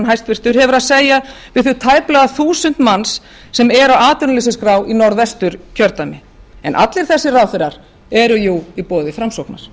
sjávarútvegsráðherrann hefur að segja við þau tæplega þúsund manns sem eru á atvinnuleysisskrá í norðvesturkjördæmi en allir þessir ráðherrar eru jú í boði framsóknar